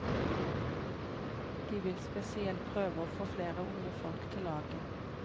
De vil spesielt prøve å få flere unge folk til laget.